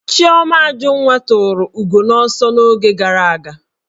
Chioma Ajunwa tụrụ ugo n'ọsọ n'oge gara aga